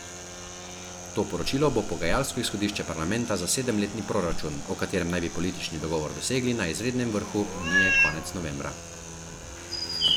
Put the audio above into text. To poročilo bo pogajalsko izhodišče parlamenta za sedemletni proračun, o katerem naj bi politični dogovor dosegli na izrednem vrhu unije konec novembra.